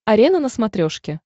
арена на смотрешке